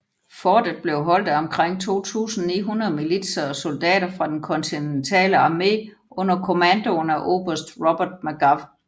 Fortet blev holdt af omkring 2900 militser og soldater fra den kontinentale armé under kommandoen af oberst Robert Magaw